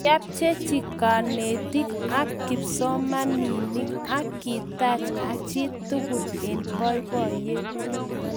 Kiapchechi kanetik ak kipsomaninik akitach chitukul eng boiboyet